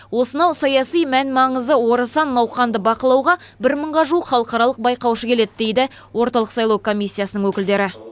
осынау саяси мән маңызы орасан науқанды бақылауға бір мыңға жуық халықаралық байқаушы келеді дейді орталық сайлау комиссиясының өкілдері